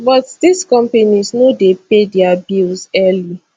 but dis companies no dey pay dia bills early